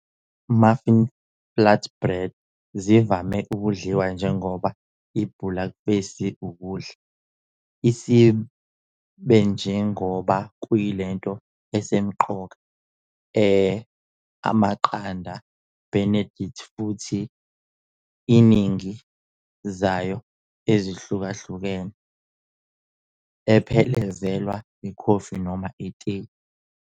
Muffin Flatbread zivame kudliwa njengoba ibhulakufesi ukudla, isib njengoba luyinto esemqoka e Amaqanda Benedict futhi iningi zayo ezihlukahlukene, ephelezelwa ikhofi noma itiye.